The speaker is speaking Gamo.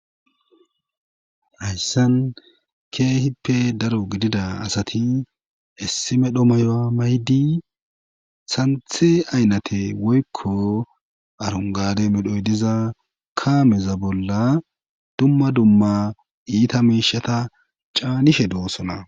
hayssan keehippe daro gidida asati issimedho mayoa maydi santhe aynate woykko arongade medhoy diza kaameza bolla dumma dumma iita mishata caanishe doosona